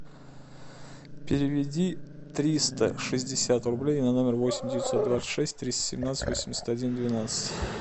переведи триста шестьдесят рублей на номер восемь девятьсот двадцать шесть триста семнадцать восемьдесят один двенадцать